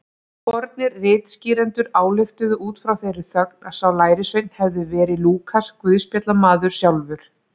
Fornir ritskýrendur ályktuðu út frá þeirri þögn að sá lærisveinn hefði verið Lúkas guðspjallamaður sjálfur.